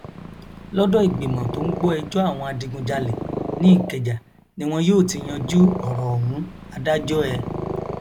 lọdọ ìgbìmọ tó ń gbọ ẹjọ àwọn adigunjalè ní ìkẹjà ni wọn yóò ti yanjú ọrọ ọhún adájọ ẹ